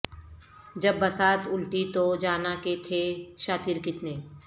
جب بساط الٹی تو جانا کہ تھے شاطر کتنے